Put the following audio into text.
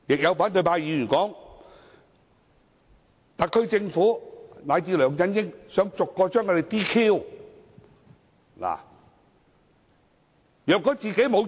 有反對派議員又表示，特區政府以至梁振英想把他們逐一取消資格。